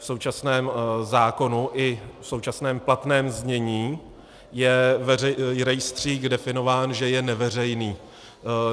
V současném zákonu i v současném platném znění je rejstřík definován, že je neveřejný.